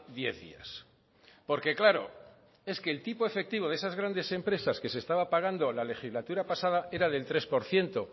diez días porque claro es que el tipo efectivo de esas grandes empresas que se estaba pagando la legislatura pasada era del tres por ciento